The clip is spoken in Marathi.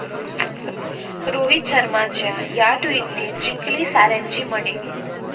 रोहित शर्माच्या या ट्विटने जिंकली साऱ्यांची मने